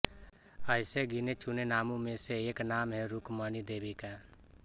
ऐसे गिनेचुने नामों में से एक नाम है रूकमणी देवी का